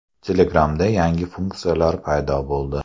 Telegram’da yangi funksiyalar paydo bo‘ldi.